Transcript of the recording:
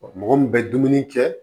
mɔgɔ min bɛ dumuni kɛ